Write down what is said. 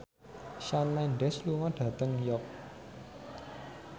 Shawn Mendes lunga dhateng York